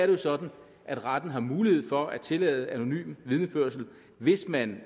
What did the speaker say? jo sådan at retten har mulighed for at tillade anonym vidneførelse hvis man